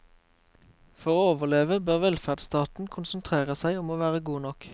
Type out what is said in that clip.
For å overleve bør velferdsstaten konsentrere seg om å være god nok.